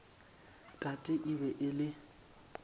tate e be e le